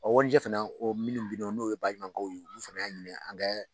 O warijɛ fana o minnu bi nɔ n'o ye baɲumankɛw ye ulu fana y'a ɲini an ka